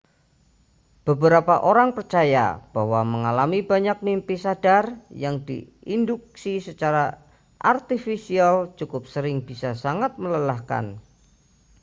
beberapa orang percaya bahwa mengalami banyak mimpi sadar yang diinduksi secara artifisial cukup sering bisa sangat melelahkan